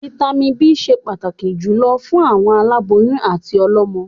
Vàìtamínií B ṣẹ pàtàkì jùlọ fún àwọn aláboyún àti ọlọ́mọ.